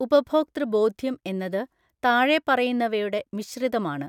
ഉപഭോക്തൃബോധ്യം എന്നത് താഴെ പറയുന്നവയുടെ മിശ്രിതമാണ്.